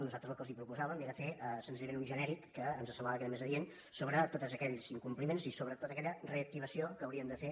nosaltres el que els proposàvem era fer senzillament un genèric que ens semblava que era més adient sobre tots aquells incompliments i sobre tota aquella reactivació que haurien de fer